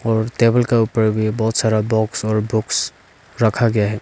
और टेबल का ऊपर भी बहुत सारा बॉक्स और बॉक्स रखा गया है।